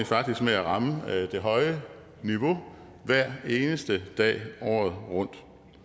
faktisk med at ramme det høje niveau hver eneste dag året rundt